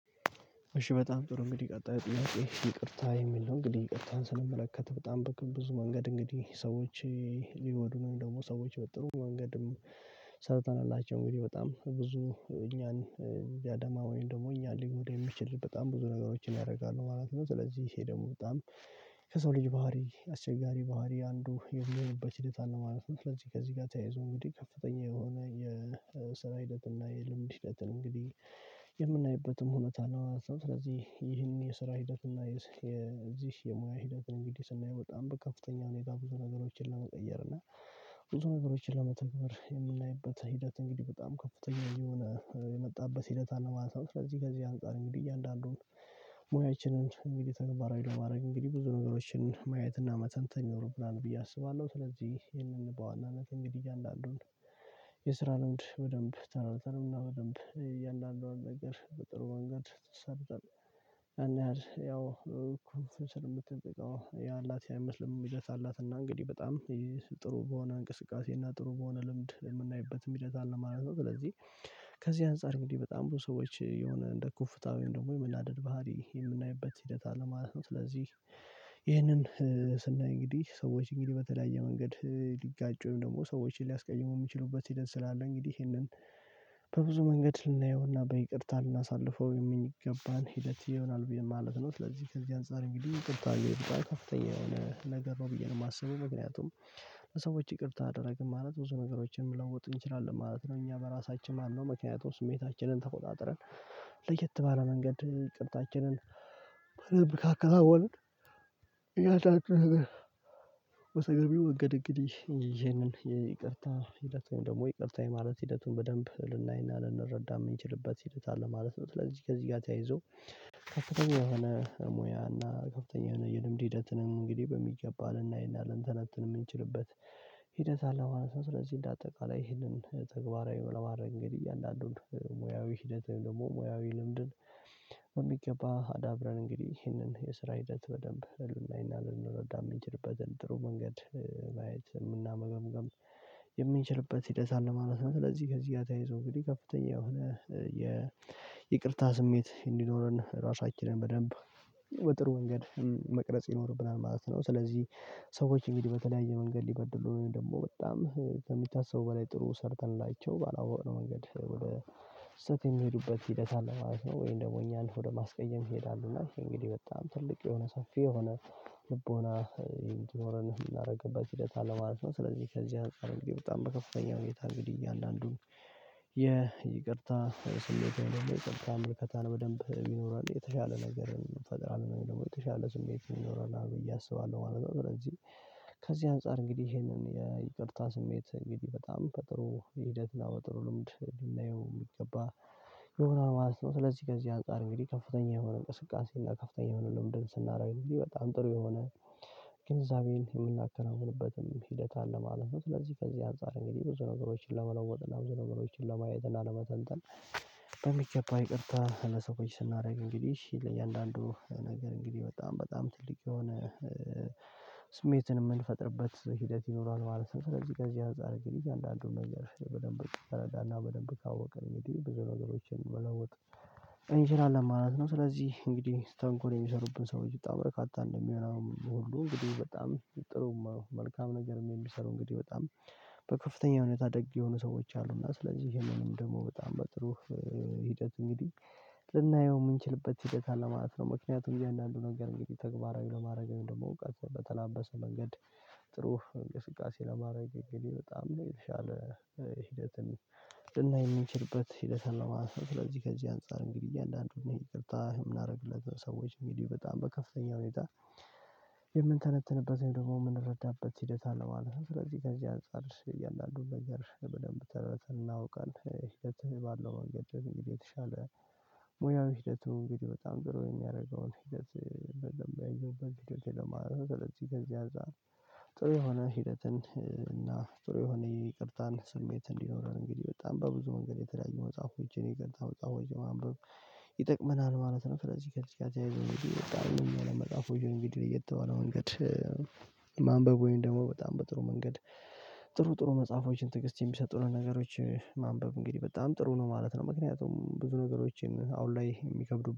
እሺ በጣም ጥሩ እንግዲህ ቀጣዩ ጥያቄ ይቅርታ የሚል ነው። እንግዲህ ይቅርታን ስንመለከት በጣም በቃ ብዙ መንገድ እንግዲህ ሰዎች ቢጎዱን ወይም ደግሞ ሰዎች በጥሩ መንገድም ሰርተንላቸው እንግዲህ በጣም ብዙ እኛን ሊያደማ ወይም ደግሞ እኛን ሊጎዳ የሚችል በጣም ብዙ ነገሮችን ያደርጋሉ ማለት ነው። ስለዚህ ይሄ ደግሞ በጣም ከሰው ልጅ ባህሪ አስቸጋሪ ባህሪ አንዱ የሚሆንበት ሂደት አለ ማለት ነው። ስለዚህ ከዚህ ጋር ተያይዞ እንግዲህ ከፍተኛ የሆነ የስራ ሂደትና የልምድ ሂደትን እንግዲህ የምናይበትም ሁኔታ ነው። ስለዚህ ይህን የስራ ሂደት እና የዚህ የሙያ ሂደትን እንግዲህ ስናየው በጣም በከፍተኛ ሁኔታ ብዙ ነገሮችን ለመቀየር እና ብዙ ነገሮችን ለመተግልበር የምናይበት ሂደት እንግዲህ በጣም ከፍተኛ እየሆነ የመጣበት ሂደት አለማለት ነው። ስለዚህ ከዚህ አንፃር እንግዲህ እያንዳንዱን ሙያችንን እንግዲህ ተገባራዊ ለማድረግ እንግዲህ ብዙ ነገሮችን ማየትና መተንተን ይኖርብናል ብዬ አስባለሁ። ስለዚህ ይሄንን በዋናነት እንግዲህ እያንድ አንዱን የስራ ልምድ በደንብ ተራ በተራ እና በደንብ እያንዳንዷን ነገር በጥሩ መንገድ ተሰርተን ያንያህልግያው እኮ ስንት የምትጠይቀው ያላት ያይመስልም ሂደት አላትና እንግዲህ በጣም ጥሩ በሆነ እንቅስቃሴና ጥሩ በሆነ ልምድ የምናይበት ሂደት አለ ማለት ነው። ስለዚህ ከዚህ አንፃር እንግዲህ በጣም ብዙ ሰዎች የሆነ እንደ ኩፍታ ደግሞ የመናደድ ባህሪ የምናይበት ሂደት አለማለት ነው። ስለዚህ ይህንን ስናይ እንግዲህ ሰዎች እንግዲህ በተለያየ መንገድ ሊጋጩን ደግሞ ሰዎችን ሊያስቀይሙ የሚችሉበት ሂደትስላለ እንግዲህ ይሄንን በብዙ መንገድ ልናየውና በይቅርታ ልናሳልፈው የምንገባን ሂደት ይሆናል ብዬ ማለት ነው። ለዚህ ከዚህ አንፃር እንግዲህ ቅርታ የሄዱት ከፍተኛ የሆነ ነገር ነው ብዬ ነው የማስበው ምክንያቱም ሰዎች ይቅርታ አደረግን ማለት ብዙ ነገሮችን መለወጥ እንችላለን ማለት ነው። እኛ በራሳችን ማነው ምክንያቱም ስሜታችንን ተቆጣጥረን ለየት ባለ መንገድ ይቅርታችንን በደንብካከ ናወንን ያልጣችሁ በሰገቢው እንግድ እንግዲህ ይቅርታ ሂደት ደግሞ ይቅርታ ማለት ሂደቱን በደንብ ልናይና ልንረዳ የምንችልበት ሂደት አለ ማለት ነው። ስለዚህ ከዚህ ጋር ተያይዞ ከፍተኛ የሆነ ሙያና እና ከፍተኛ የሆነ የልምድ ሂደትንም እንግዲህ በሚገባ ልናይና ልንተነብት የምንችልበት ሂደት አለ ማለት ነው። ስለዚህ እንደ አጠቃላይ ይህንን ተግባራዊ ለማድረግ እንግዲህ እያንዳንዱን ሙያዊ ሂደት ደግሞ ሙያዊ ልምድን በሚገባ አዳብረን እንግዲህ ይህንን የስራ ሂደት በደንብ ልናይና ልንረዳም የምንችልበትን ጥሩ መንገድ ማየት የምናመገምግም የምንችልበት ሲደት አለማለት ነው። ስለዚህ ከዚህ ጋር ተያይዞ እንግዲህ ከፍተኛ የሆነ የይቅርታ ስሜት እንዲኖረን ራሳችንን በደንብ በጥሩ ወንገድ መቅረጽ ይኖርብናል ማለት ነው። ስለዚህ ሰዎች እንግዲህ በተለያየ መንገድ ሊበድሉ ደግሞ በጣም ከሚታሰቡ በላይ ጥሩ ሰርተን ላቼው ባላወቅነው መንገድ ወደ ስህተት የሚሄዱበት ሂደት አለ ማለት ነው። ወይም ደግሞ እኛ እኛን ወደ ማስቀየም ይሄዳሉ እና እንግዲህ በጣም ትልቅ የሆነ ሰፊ የሆነ ልቦና እንዲኖረን የምናደርግበት ሂደት አለማለት ነው። ስለዚህ ከዚህ አንፃር እንግዲህ በጣም በከፍተኛ ሁኔታ እንግዲህ እየአንዳንዱን የይቅርታ ስሌት ወይም ደግሞ ይቅርታ ምርከታን በደንብ የሚኖረን የተሻለ ነገርን ፈጥሮ አለን ደግሞ የተሻለ ስሜት ይኖራል አሉ እያሰባለሁ ማለት ነው። ስለዚህ ከዚህ አንፃር እንግዲህ ይሄንን የይቅርታ ስሜት እንግዲህ በጣም በጥሩ ሂደትና በጥሩ ልምድ ልናየው የሚገባ ይሆናል ማለት ነው። ስለዚህ ከዚህ አንፃር እንግዲህ ከፍተኛ የሆነ እንቅስቃሴ እና ከፍተኛ የሆነ ልምድን ስናደርግ እንግዲህ በጣም ጥሩ የሆነ ግንዛቤን የምናከናውንበትም ሂደት አለ ማለት ነው። ስለዚህ ከዚህ አንፃር እንግዲህ ብዙ ነገሮችን ለመለወጥ እና ብዙ ነገሮችን ለማየት እና ለመተንተን በሚገባ ይቅርታ ለሰው ቆይ ስናደርግ እንግዲህ ለእያንዳንዱ ነገር እንግዲህ በጣም በጣም ትልቅ የሆነ ስሜትን የምንፈጥርበት ሂደት ይኖራል ማለት ነው። ስለዚህ ከዚህ አንፃር ግንኙነት አንዳንዱን ነገር በደንብ ተረዳና በደንብ ካወቀ እንግዲህ ብዙ ነገሮችን መለወጥ እንችላለን ማለት ነው። ስለዚህ እንግዲህ ስተንኮል የሚሰሩብን ሰዎች በጣም በረካታ እንደሚሆን ሁሉ እንግዲህ በጣም ጥሩ መልካም ነገር የሚሰሩ እንግዲህ በጣም በከፍተኛ እውነት አደግ የሆኑ ሰዎች አሉ። እና ስለዚህ ይሄንንም ደግሞ በጣም በጥሩ ሂደት እንግዲህ ልናየው የምንችልበት ሂደት አለማለት ማለት ነው። ምክንያቱም እንደዚህ አንዳንዱ ነገር እንግዲህ ተግባራዊ ለማድረግ ወይም ደግሞ እውቀትን በተላበሰ መንገድ ጥሩ እንቅስቃሴ ለማድረግ እንግዲህ በጣም የተሻለ ሂደትን ልናይ የምንችልበት ሂደት አለው ማለት ነው። ስለዚህ ከዚህ አንፃር እንግዲህ እያንዳንዱን ይቅርታ የምናረግለት አደረግለት ሰዎች እንግዲህ በጣም በከፍተኛ ሁኔታ የምንተነትንበትን ደግሞ የምንረዳበት ሂደት አለማለት ነው። ስለዚህ ከዚህ አንፃር እያን አንዱን ነገር በደንብ ተረተን እናውቃለን ሂደትህ ባለው መንገድ እንግዲህ የተሻለ ሙያዊ ሂደቱን እንግዲህ በጣም ጥሩ የሚያደርገውን ሂደት በለም ያየሁበት። ስለዚህ ከዚያ አንፃር ጥሩ የሆነ ሂደትን እና ጥሩ የሆነ የይቅርታን ስሜት እንዲኖረን እንግዲህ በጣም በብዙመንገድ የተለያዩ መጽሐፍ ፎችን የይቅርታ መጽሐፎችን ማንበብ ይጠቅመናል ማለት ነው። ስለዚህ ከዚህ ጋር ይተያይዞ የመጽሐፉ የሆነ ቪዲዮ ላይ ለየትባለ መንገድ ማንበብ ወይም ደግሞ በጣም በጥሩ መንገድ ጥሩ ጥሩ መጽሐፎችን ትግስት የሚሰጡንን ነገሮች ማንበብ እንግዲህ በጣም ጥሩ ነው ማለት ነው። ምክንያቱም ብዙ ነገሮችን አሁን ላይ የሚከብዱብን